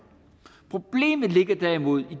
problemet ligger derimod i